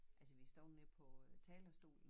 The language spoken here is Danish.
Altså vi har stået nede på talerstolen